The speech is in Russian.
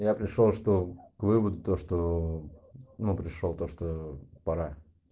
я пришёл что к выводу то что ну пришёл то что пора